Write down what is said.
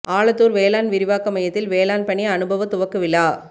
ஆலத்தூர் வேளாண் விரிவாக்க மையத்தில் வேளாண் பணி அனுபவ துவக்க விழா